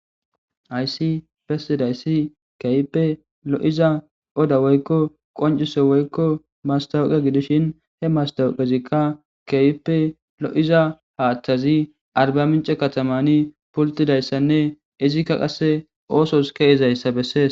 Haysi bess9daysi keehipe gotta odda woyko qonciso woyko mastawoqa gidishin he mastawowazika keehippe lo'iza haathazi arba mince katamazani pultidaysanne izika qase oosos ke'izausa besses.